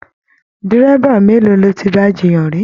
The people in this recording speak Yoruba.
Dírẹ́bà mélòó lọ tí bá jiyàn ri I?